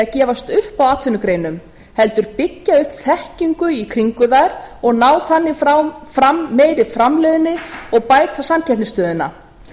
gefast upp á atvinnugreinum heldur byggja upp þekkingu í kringum þær og ná þannig fram meiri framleiðni og bæta samkeppnisstöðuna